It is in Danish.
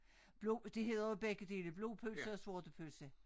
Blod det hedder jo begge dele blodpølse og sortepølse